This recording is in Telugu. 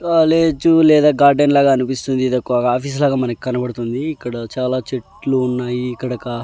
కాలేజ్ లేదా గార్డెన్ లాగా అనిపిస్తుంది ఇదొక ఆఫీసు లాగా మనకు కనబడుతుంది ఇక్కడ చాలా చెట్లు ఉన్నాయి ఇక్కడ ఒక.